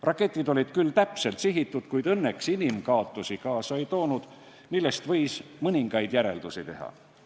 Raketid olid küll täpselt sihitud, kuid õnneks inimkaotusi kaasa ei toonud, millest võis mõningaid järeldusi teha.